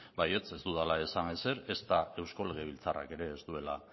baietz ez dudala esan ezer ezta eusko legebiltzarrak ere ez duela